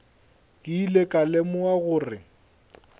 ke ile ka lemoga gore